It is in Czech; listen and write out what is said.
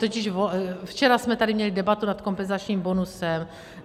Totiž včera jsme tady měli debatu nad kompenzačním bonusem.